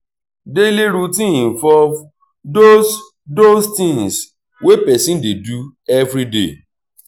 daily routine involve those those things wey person dey do everyday